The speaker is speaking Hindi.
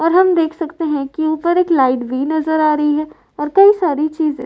और हम देख सकते है की उपर एक लाइट भी नजर आ रही है और कई सारे चीजे --